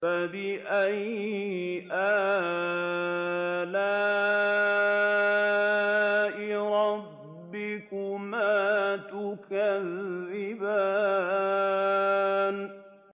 فَبِأَيِّ آلَاءِ رَبِّكُمَا تُكَذِّبَانِ